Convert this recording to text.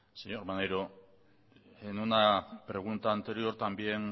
señor maneiro en una pregunta anterior también